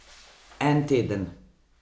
En teden!